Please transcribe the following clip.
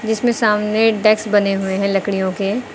इसमें सामने डेस्क बने हुए हैं लकड़ियों के।